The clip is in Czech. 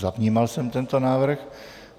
Zavnímal jsem tento návrh.